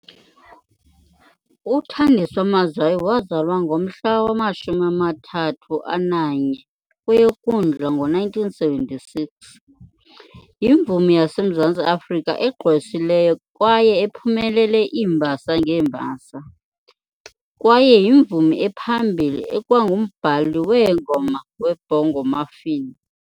UThandiswa Mazwai wazalwa ngomhla wama-31 kweyoKwindla ngo1976 yimvumi yaseMzantsi Afrika egqwesileyo kwaye ephumelele iimbasa ngeembasa, kwaye uyimvumi ephambili ekwangumbhali weengoma weBongo Maffin.